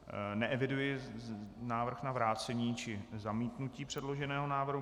Neeviduji návrh na vrácení či zamítnutí předloženého návrhu.